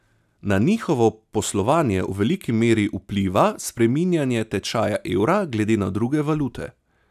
Na njihovo poslovanje v veliki meri vpliva spreminjanje tečaja evra glede na druge valute.